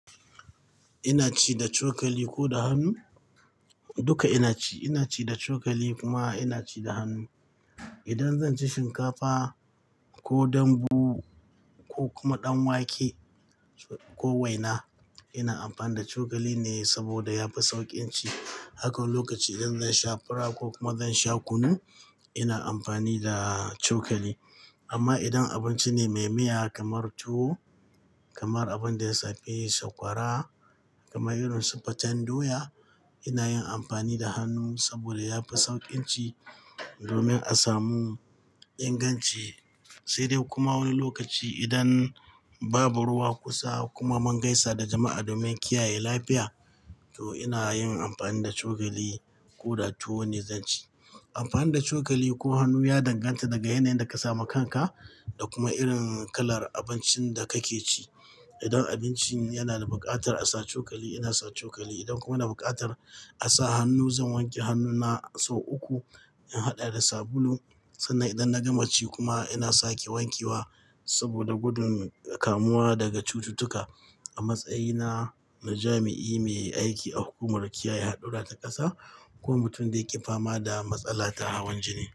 Ina ci da cokali ko da hannu? Duka ina ci. Ina ci da cokali kuma ina ci da hannu. Idan zan ci shinkafa ko dambu ko kuma ɗan wake, ko waina, ina amfani da cokali ne saboda yafi sauƙin ci. Haka lokaci idan zan sha fura ko kuma zan sha kunu, ina amfani da cokali. Amma idan abinci ne maimaya kamar tuwo, kamar abin da ya safi sakwara, kamar irin su faten doya, ina yin amfani da hannu saboda yafi sauƙin ci domin a samu inganci. Sai dai kuma wani lokaci idan babu ruwa kusa kuma mun gaisa da jama'a domin kiyaye lafiya, to ina yin amfani da cokali ko da tuwo ne zan ci. Amfani da cokali ko hannu ya danganta daga yanayin da ka samu kanka da kuma irin kalar abincin da kake ci. Idan abinci yana da buƙatar a sa cokali, ina sa cokali. Idan kuma na buƙatar a sa hannu, zan wanke hannuna sau uku, in haɗa da sabulu. Sannan idan na gama ci kuma ina sake wanke wa saboda gudun kamuwa daga cututtuka. A matsayina na jami'i mai aiki a hukumar kiyaye haɗura ta ƙasa kuma mutum da yake fama da matsala ta hawan jini.